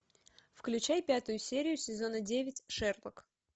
включай пятую серию сезона девять шерлок